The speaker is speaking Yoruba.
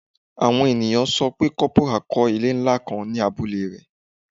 Awọn eniyan sọ pe corporal kọ ile nla kan ni abule rẹ